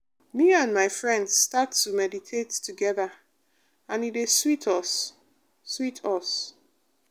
me and my friends start to meditate together and e dey sweet us. sweet us.